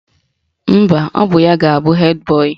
Mba, ọ bụ ya ga-abụ hed boyị